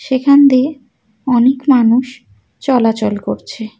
সেখান দিয়ে অনেক মানুষ চলাচল করছে।